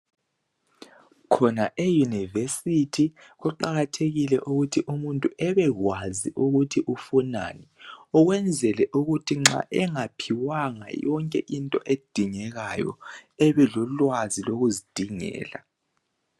Khona e university kuqakathekile ukuthi umuntu ebekwazi ukuthi ufunani ukwenzela ukuthi nxa engaphiwanga yonke into edingekayo ebelolwazi lokuzidingela